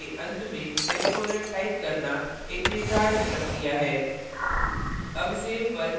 चूँकि line के अंत में semicolon type करना एक निर्धारित प्रक्रिया है